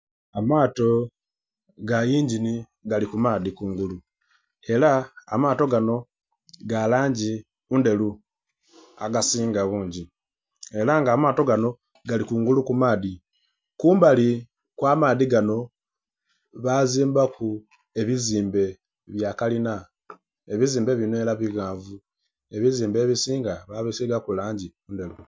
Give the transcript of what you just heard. Amaato ga iingini gali ku maadhi kungulu era amaato ganho ghaligho mu langi endheru agasinga bungi era amaato ganho ghaligho kungulu ku maadhi. Kumbali kwa maadhi ganho bazimbalu ebizimbe bya kalina ebizimbe binho era bighanvu, ebizimbe ebisinga babisigaku langi ndheru.